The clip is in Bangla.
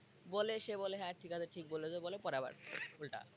বলে সে বলে হ্যাঁ ঠিক আছে ঠিক বলেছ পরে আবার উল্টা।